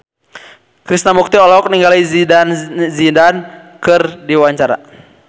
Krishna Mukti olohok ningali Zidane Zidane keur diwawancara